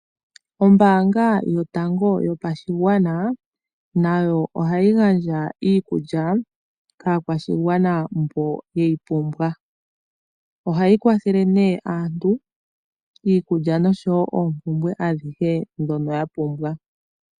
Ombaanga yotango yopashigwana nayo ohayi gandja iikulya kaakwashigwana mboka ye yi pumbwa. Ohayi kwathele nee aantu iikulya nosho wo oompumbwe adhihe ndhono yapumbwa.